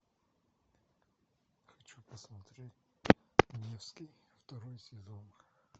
хочу посмотреть невский второй сезон